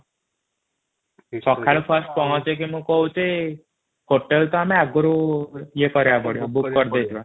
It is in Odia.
ସକାଳୁ ଫର୍ସ୍ଟ ପହଁଚିକି ମୁ କହୁଛି ହୋଟେଲ ଟା ଆମକୁ ଈଏ କରିବାକୁ ବ୍ୟୟକ କରିଦେଇଥିବା |